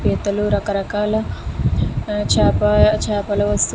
పీతలు రక రకాల చేపలు ఆ --